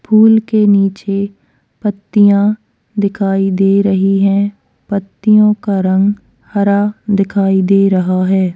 फूल के नीचे पत्तियां दिखाई दे रही है पत्तियों का रंग हरा दिखाई दे रहा है।